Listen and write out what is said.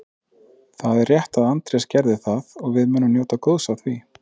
Það er rétt að Andrés gerði það og við munum njóta góðs af því.